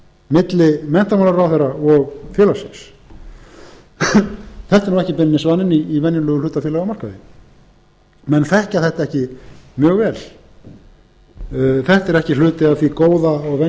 milli menntamálaráðherra og félagsins þetta er ekki beinlínis vaninn í venjulegum hlutafélagamarkaði menn þekkja þetta ekki mjög vel þetta er ekki hluti af því góða og venjulega